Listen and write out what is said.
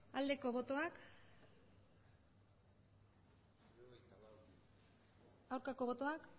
aldeko botoak aurkako botoak